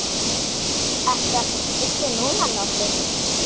Ertu ekkert fullur núna, Lási?